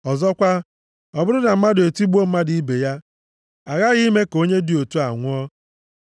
“Ọzọkwa, ọ bụrụ na mmadụ etigbuo mmadụ ibe ya, aghaghị ime ka onye dị otu a nwụọ.